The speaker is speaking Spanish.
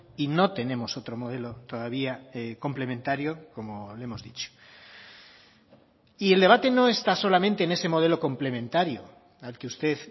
y no tenemos otro modelo todavía complementario como le hemos dicho y el debate no está solamente en ese modelo complementario al que usted